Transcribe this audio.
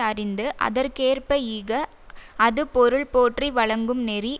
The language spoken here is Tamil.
அறிந்து அதற்கு ஏற்ப ஈக அது பொருள்போற்றி வழங்கும் நெறி